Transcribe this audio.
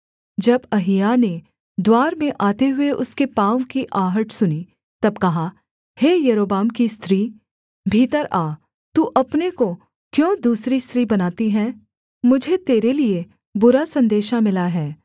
जब अहिय्याह ने द्वार में आते हुए उसके पाँव की आहट सुनी तब कहा हे यारोबाम की स्त्री भीतर आ तू अपने को क्यों दूसरी स्त्री बनाती है मुझे तेरे लिये बुरा सन्देशा मिला है